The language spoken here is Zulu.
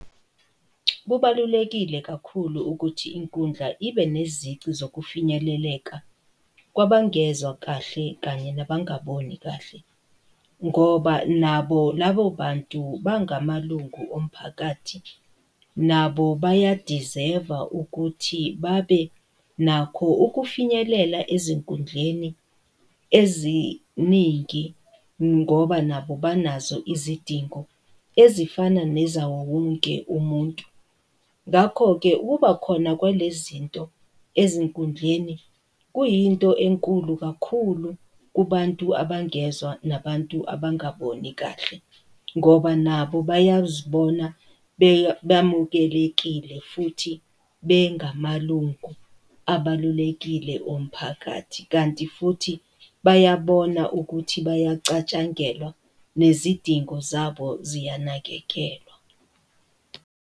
Kubalulekile kakhulu ukuthi inkundla ibe nezici zokufinyeleleka, kwabangezwa kahle, kanye nabangaboni kahle, ngoba nabo labo bantu bangamalungu omphakathi, nabo bayadizeva ukuthi babe nakho ukufinyelela ezinkundleni eziningi ngoba nabo banazo izidingo ezifana nezawowonke umuntu. Ngakho-ke ukubakhona kwale zinto ezinkundleni kuyinto enkulu kakhulu kubantu abangezwa nabantu abangaboni kahle, ngoba nabo bayazibona bamukelekile, futhi bengamalungu abalulekile omphakathi, kanti futhi bayabona ukuthi bayacatshangelwa, nezidingo zabo ziyanakekelwa.